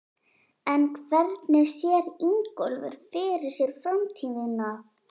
En hvernig sér Ingólfur fyrir sér framtíðina?